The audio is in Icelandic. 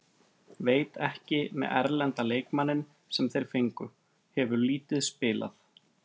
Veit ekki með erlenda leikmanninn sem þeir fengu, hefur lítið spilað.